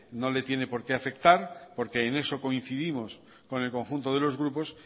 no le tiene por qué afectar porque en eso coincidimos con el conjunto de los grupos